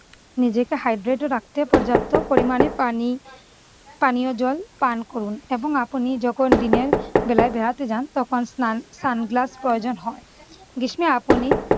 নিজেকে hydrate ও রাখতে পর্যাপ্ত পরিমানে পানি~ পানীয় জল পান করুন এবং আপনি যখন দিনের বেলায় বেড়াতে যান তখন স্নান sunglass প্রয়োজন হয়। গ্রীস্মে আপনি